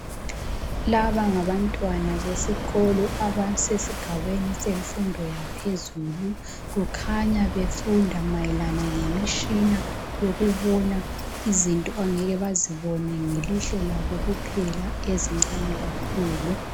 laba ngabantwana besikolo abasesigabeni semfundo yaphezulu kukhanya befunda mayelana lemitshina ngokubona izinto abangeke bazobona ngelihlo labo kuphela ezincane kakhulu